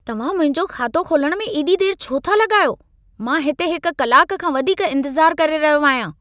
तव्हां मुंहिंजो खातो खोलण में एॾी देर छो था लॻायो? मां हिते हिक कलाक खां वधीक इंतज़ार करे रहियो आहियां।